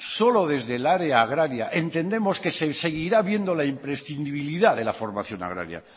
solo desde el área agraria entendemos que se seguirá viendo la imprescindibilidad de la formación agraria